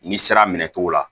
Ni sira minɛ cogo la